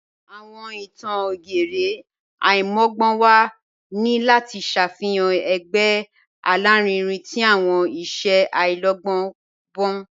Awọn ìtàn ògérè aimọgbọnwa ni lati ṣáfihan ẹ̀gbẹ̀ alárìínrìn tí awọn iṣẹ̀ aláìlọ̀gbọn."